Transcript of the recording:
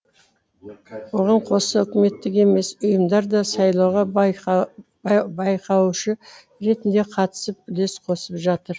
оған қоса үкіметтік емес ұйымдар да сайлауға байқаушы ретінде қатысып үлес қосып жатыр